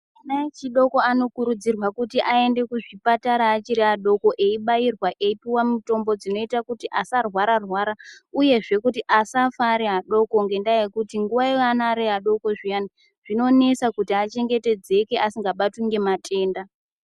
Ana echidoko anokurudzirwa kuti aende kuzvipatara achiri adoko eibairwa eipuwa mutombo dzinoita kuti asarwara rwara uyezve kuti asafa ari adoko ngendaa yekuti nguwa iyana ari adoko zviyani zvinonesa kuti achengetedzeke asingabatwi ngematenda.